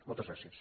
moltes gràcies